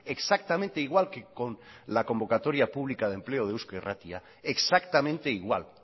exactamente igual que con la convocatoria pública de empleo de eusko irratia exactamente igual